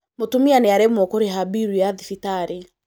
Mūtumia nīaremwo kūrīha bilu ya thibitarī